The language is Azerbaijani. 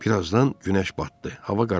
Bir azdan günəş batdı, hava qaraldı.